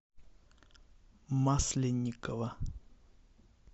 масленникова